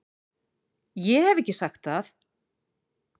Ég hef ekki sagt það!